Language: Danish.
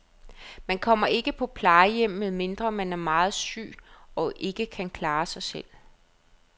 Man kommer ikke på plejehjem, medmindre man er meget syg og ikke kan klare sig selv.